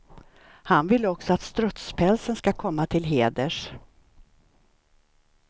Han vill också att strutspälsen ska komma till heders.